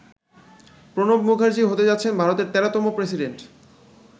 প্রণব মুখার্জি হতে যাচ্ছেন ভারতের ১৩তম প্রেসিডেন্ট।